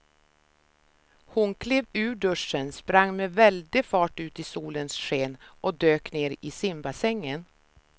Hon klev ur duschen, sprang med väldig fart ut i solens sken och dök ner i simbassängen.